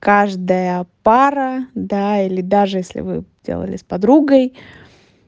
каждая пара да или даже если вы делали с подругой